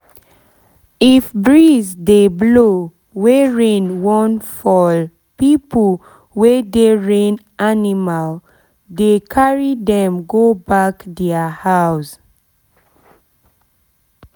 if breeze dey blow wey rain wan fall people wey dey train animal dey carry them go back thier house